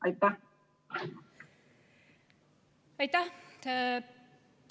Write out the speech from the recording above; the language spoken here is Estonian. Aitäh!